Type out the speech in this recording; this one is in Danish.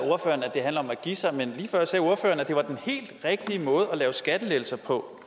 det handler om at give sig men lige før sagde ordføreren at det var den helt rigtige måde at lave skattelettelser på